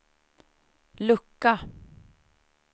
lucka